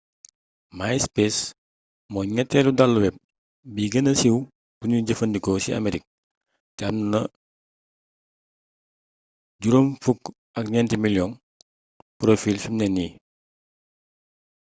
myspace mooy ñetteelu dalu web bi gëna siiw buñuy jëfandikoo ci amerik te am na 54 miliyoŋi porofiil fimne nii